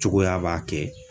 Cogoya b'a kɛ.